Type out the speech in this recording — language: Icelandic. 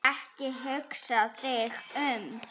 Ekki hugsa þig um.